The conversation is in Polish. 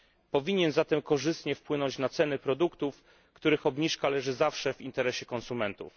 Powinien zatem korzystnie wpłynąć na ceny produktów, których obniżka leży zawsze w interesie konsumentów.